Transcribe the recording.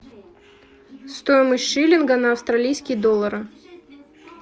стоимость шиллинга на австралийские доллары